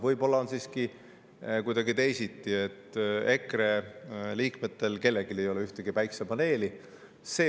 Võib-olla on siiski kuidagi teisiti, nii, et EKRE liikmetel ei ole kellelgi ühtegi päiksepaneeli.